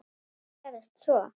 En hvað gerist svo?